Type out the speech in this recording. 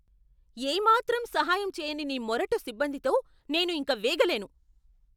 ఏ మాత్రం సహాయం చెయ్యని మీ మొరటు సిబ్బందితో నేను ఇంక వేగలేను.